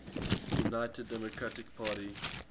united democratic party